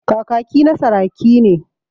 Kakaki na saraki ne.